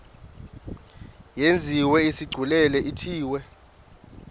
yenziwe isigculelo ithiwe